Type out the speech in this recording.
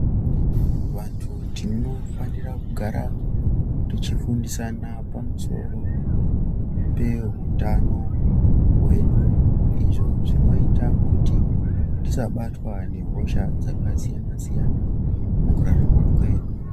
Vantu tinofanira kugara tichifundisana pamusoro pehutano hwedu izvo zvinoita kuti tisabatwa nehosha dzakasiyana siyana mukurarama kwedu.